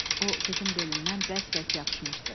O, qızın belindən bərk-bərk yapışmışdı.